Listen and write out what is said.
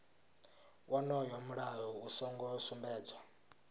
wonoyo mulayo u songo sumbedzwa